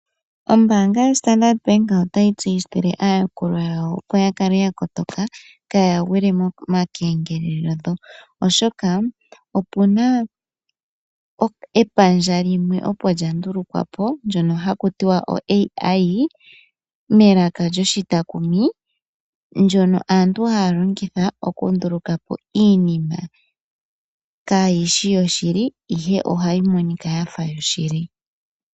Ombaanga yoStandard bank otayi tseyithile aayakulwa yawo opo ya kale ya kotoka kaaya gwile momakengelele, oshoka ope na epandja limwe opo lya ndulukwa po haku tiwa oAI melaka lyo shitakumu, ndyono aantu haya nduluka po iinima kaayi shi yoshili, ihe ohayi monika ya fa yoshili.